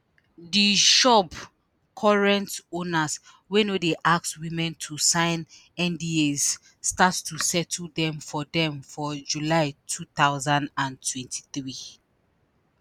di shop current owners wey no dey ask women to sign ndas start to settle dem for dem for july 2023.